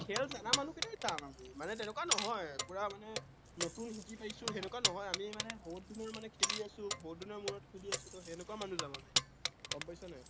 মানে তেনেকুৱা নহয়, পুৰা মানে নতুন শিকি পাইছো তেনেকুৱা নহয়। আমি বহুতদিনৰ মানে খেলি আছো, বহুতদিনৰ মূৰত কেলি আছো, সেনেকুৱা মানুহ যাম আমি গম পাইছ নাই?